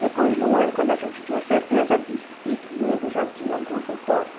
Depois de um ano, quando a gente tinha certeza disso e que ele já tinha um consultório,